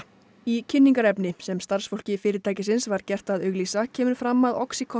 í kynningarefni sem starfsfólki fyrirtækisins var gert að auglýsa kemur fram að